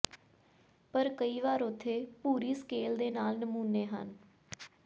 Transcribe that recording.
ਪਰ ਕਈ ਵਾਰ ਉੱਥੇ ਭੂਰੀ ਸਕੇਲ ਦੇ ਨਾਲ ਨਮੂਨੇ ਹਨ